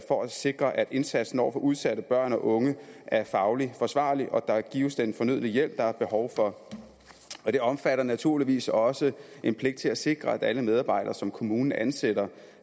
for at sikre at indsatsen over for udsatte børn og unge er fagligt forsvarlig og at der gives den fornødne hjælp der er behov for det omfatter naturligvis også en pligt til at sikre at alle medarbejdere som kommunen ansætter